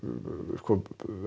sko